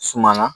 Suma na